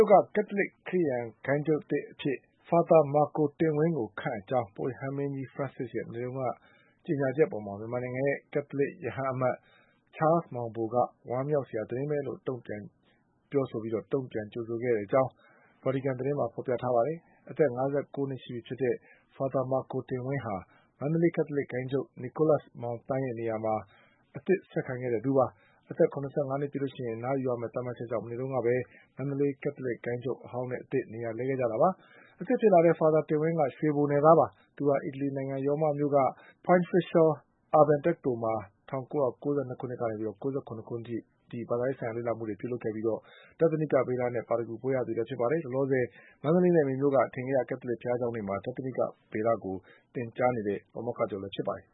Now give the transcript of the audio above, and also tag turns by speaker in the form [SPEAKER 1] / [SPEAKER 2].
[SPEAKER 1] ို့က ကက်သလစ်ခရစ်ယာန်ဂိုဏ်းချုပ်အသစ် အဖြစ် Fr. Marco တင်ဝင်း ကိုခန့်အပ်ကြောင်း ပုပ်ရဟန်းမင်းကြီး Francis ရဲ့ မနေ့တုန်းကကြေညာချက်အပေါ် မြန်မာနိုင်ငံရဲ့ ကက်သလစ် ရဟန်းအမတ် ချားလ်စ်မောင်ဘို က ဝမ်း မြောက်စရာ သတင်းလို့ တုံ့ပြန်ကြိုဆိုတဲ့အကြောင်း ဗာတီကန်သတင်းမှာ ဖေါ်ပြထားပါတယ်။ အသက် ၅၉ နှစ်ရှိပြီဖြစ်တဲ့ Fr. မာကိုတင်ဝင်းဟာ မန္တလေးကက်သလစ်ဂိုဏ်းချုပ် Nicholas Mang Thang ရဲ့ နေရာမှာအသစ်ဆက်ခံခဲ့တဲ့သူပါ။ အသက်၇၅နှစ်ပြည့်ရင် အနားယူရမယ့်သတ်မှတ်ချက်ကြောင့် မနေ့တုန်းကပဲ မန္တလေးကက်သလစ်ဂိုဏ်းချုပ် အဟောင်းနဲ့ အသစ်နေရာလဲခဲ့ကြတာပါ။ အသစ်ဖြစ်လာတဲ့ Fr. တင်ဝင်းက ရွှေဘိုနယ်သားပါ။ သူဟာ အီတလီနိုင်ငံ ၊ ရောမမြို့က Pontifical Urban တက္ကသိုလ်မှာ ၁၉၉၂ ခုနှစ် ကနေ ၉၇ခုနှစ် အထိ ဘာသာရေးဆိုင်ရာလေ့လာမှုတွေလုပ်ခဲ့ပြီး ဒဿနိက ဗေဒနဲ့ ပါရဂူဘွဲ့ ရခဲ့သူဖြစ်ပါတယ်။ လောလောဆယ် မန္တလေးနဲ့ မေမြို့က အထင်ကရ ကက်သလစ်ဘုရားကျောင်းတွေမှာ ဒဿနိကဗေဒကို
[SPEAKER 2] သင်ကြားပို့ချနေတဲ့ ပါမောက္ခချုပ်လည်းဖြစ်ပါတယ်